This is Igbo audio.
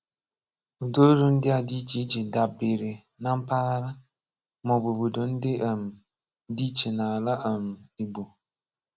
Ụdáolu ndị a dị iche iche dábere na mpaghara, maọbụ obodo ndị um dị iche n'ala um Igbo.